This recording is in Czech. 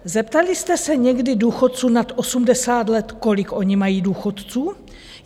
Zeptali jste se někdy důchodců nad 80 let, kolik oni mají důchodu?